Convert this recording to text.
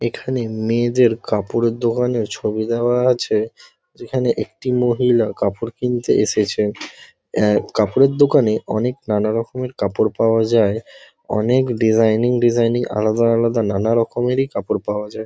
এখানে মেয়েদের কাপড়ের দোকানের ছবি দেওয়া আছে। যেখানে একটি মহিলা কাপড় কিনতে এসেছে। আ -কাপড়ের দোকানে অনেক নানারকমের কাপড় পাওয়া যায়। অনেক ডিজাইনিং ডিজাইনিং আলাদা আলাদা নানারকমেরই কাপড় পাওয়া যায়।